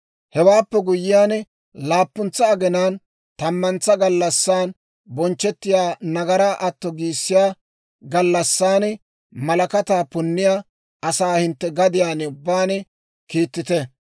Hewaappe guyyiyaan, laappuntsa aginaan, tammantsa gallassan bonchchettiyaa nagaraa atto giissiyaa gallassan malakataa punniyaa asaa hintte gadiyaan ubbaan kiittite.